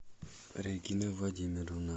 регина владимировна